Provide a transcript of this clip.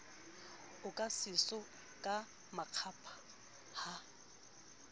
oka seso ka makgapha ha